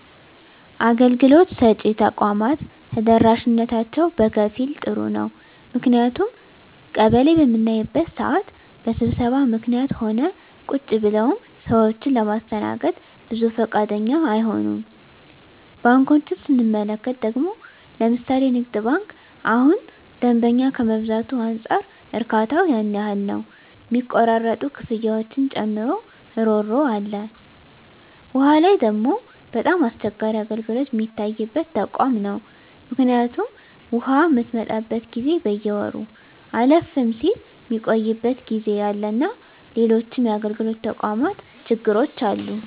አገልግሎት ሰጭ ተቋማት ተደራሽነታቸው በከፊል ጥሩ ነው ምክንያቱም ቀበሌ በምናይበት ስዓት በስብሰባ ምክኒትም ሆነ ቁጭ ብለውም ሰዎችን ለማስተናገድ ብዙ ፈቃደኛ አይሆኑም። ባንኮችን ስንመለከት ደግሞ ለምሣሌ ንግድ ባንክ እሁን ደንበኛ ከመብዛቱ አንፃር እርካታው ያን ያህል ነው ሚቆራረጡ ክፍያዎችን ጨምሮ እሮሮ አለ። ዉሃ ላይ ደግሞ በጣም አስቸጋሪ አገልግሎት ሚታይበት ተቋም ነው ምክኒቱም ውሃ ምትመጣበት ጊዜ በየወሩ አለፍም ስል ሚቆይበት ጊዜ አለና ሎሎችም የአገልግሎት ተቋማት ችግሮች አሉ።